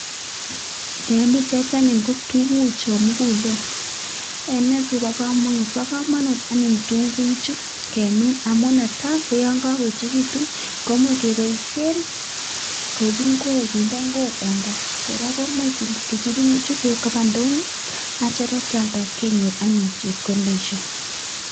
En pichait anyun ko tukuchon mukulen, ene sikobo komonut, bokomonut anee tukuchu kemin amun netaa ko yoon ko koechekitun komuch keboishen koik ing''wek kinde ing'wek en kaa, kora koimuch tukuchu keib koba ndonyo akitio akialda kenyor anyun chepkondoshek.